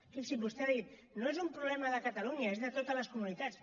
fixi’s vostè ha dit no és un problema de catalunya és de totes les comunitats